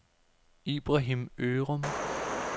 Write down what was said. Ibrahim Ørum